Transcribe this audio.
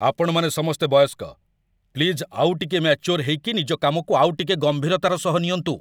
ଆପଣମାନେ ସମସ୍ତେ ବୟସ୍କ! ପ୍ଲିଜ୍ ଆଉଟିକେ ମାଚ୍ୟୋର୍ ହେଇକି ନିଜ କାମକୁ ଆଉଟିକେ ଗମ୍ଭୀରତାର ସହ ନିଅନ୍ତୁ ।